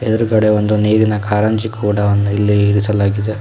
ಎದುರುಗಡೆ ಒಂದು ನೀರಿನ ಕಾರಂಜಿ ಕೂಡ ಒಂದು ಇಲ್ಲಿ ಇರಿಸಲಾಗಿದೆ.